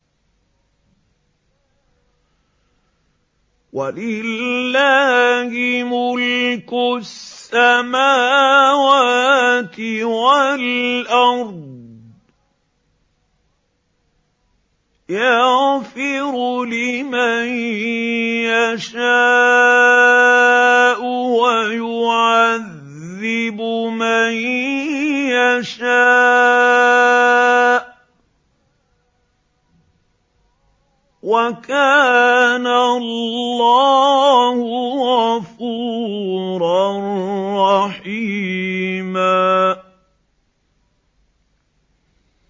وَلِلَّهِ مُلْكُ السَّمَاوَاتِ وَالْأَرْضِ ۚ يَغْفِرُ لِمَن يَشَاءُ وَيُعَذِّبُ مَن يَشَاءُ ۚ وَكَانَ اللَّهُ غَفُورًا رَّحِيمًا